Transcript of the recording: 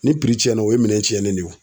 Ni tiɲɛna, o ye minɛn tiɲɛnen de ye wo.